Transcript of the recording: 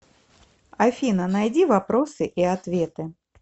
афина найди вопросы и ответы